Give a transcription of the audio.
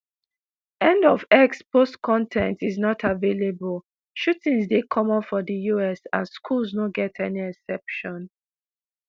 end of x post con ten t is not available shootings dey common for di us and schools no get any exception